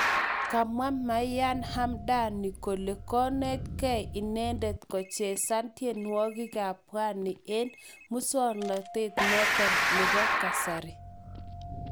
Kamwaa Maryam Hamdani kole kinetgei inendet kochezan tienwokik kab pwani en muswoknotet noton nebo kasari